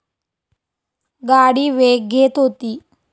गाडी वेग घेत होती.